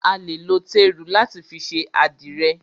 A lè lo téru láti fi ṣe àdìrẹ̀.